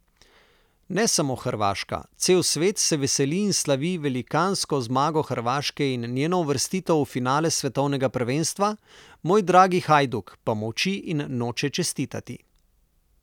Ne samo Hrvaška, cel svet se veseli in slavi velikansko zmago Hrvaške in njeno uvrstitev v finale svetovnega prvenstva, moj dragi Hajduk pa molči in noče čestitati.